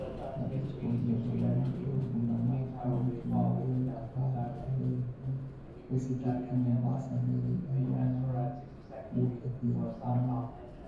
abich kuom jo telo mag od bura mar kaonti mogwel apar gi ariyo ma oseket e Mombasa nigi anyuola ma wuok e piny ma malo.